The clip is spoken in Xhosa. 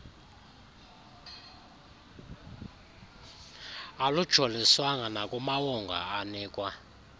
alujoliswanga nakumawonga anikwa